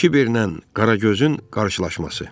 Kiberlə Qaragözün qarşılaşması.